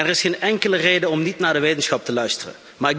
Er is geen enkele reden om niet naar de wetenschap te luisteren.